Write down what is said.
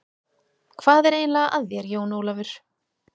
Hvað er eiginlega að þér, Jón Ólafur?